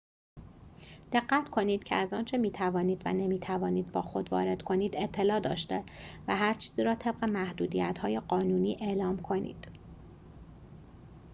دقت کنید که از آنچه می‌توانید و نمی‌توانید با خود وارد کنید اطلاع داشته و هر چیزی را طبق محدودیت‌های قانونی اعلام کنید